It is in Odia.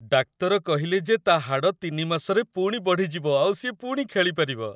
ଡାକ୍ତର କହିଲେ ଯେ ତା' ହାଡ଼ ୩ ମାସରେ ପୁଣି ବଢ଼ିଯିବ ଆଉ ସିଏ ପୁଣି ଖେଳିପାରିବ ।